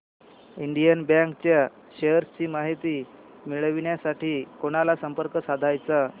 Indian bank च्या shares ची माहिती मिळविण्यासाठी कोणाला संपर्क साधायचा